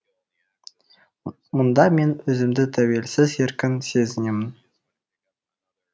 мұнда мен өзімді тәуелсіз еркін сезінемін